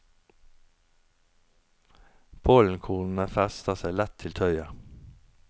Pollenkornene fester seg lett til tøyet.